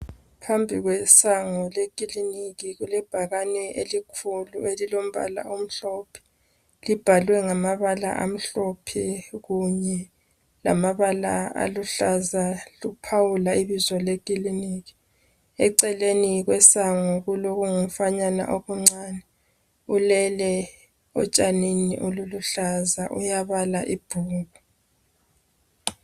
Phambi kwesango lekiliniki kulebhakane elikhulu elilombala omhlophe libhalwe ngamabala amhlophe kunye lamabala aluhlaza luphawula ibizo lekiliniki eceleni kwesango kulokungu mfanyana okuncane ulele etshanini oluluhlaza uyabala ibhuku.